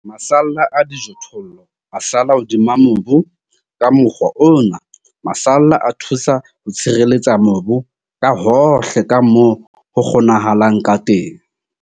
Masalla a dijothollo a sala hodima mobu. Ka mokgwa ona, masalla a thusa ho tshireletsa mobu ka hohle ka moo ho kgonahalang ka teng.